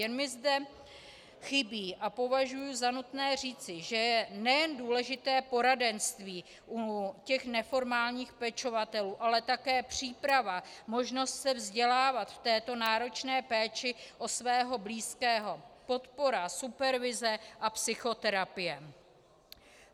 Jen mi zde chybí a považuji za nutné říci, že je nejen důležité poradenství u těch neformálních pečovatelů, ale také příprava, možnost se vzdělávat v této náročné péči o svého blízkého, podpora, supervize a psychoterapie.